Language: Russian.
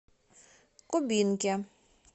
кубинке